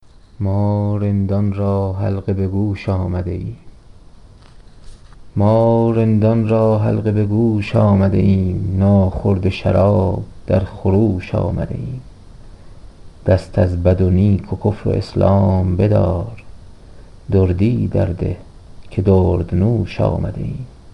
ما رندان را حلقه به گوش آمده ایم ناخورده شراب در خروش آمده ایم دست از بد و نیک و کفر و اسلام بدار دردی در ده دردنوش آمده ایم